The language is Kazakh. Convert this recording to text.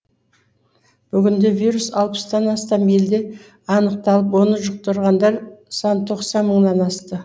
бүгінде вирус алпыстан астам елде анықталып оны жұқтырғандар саны тоқсан мыңнан асты